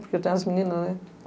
Porque eu tenho as meninas, né?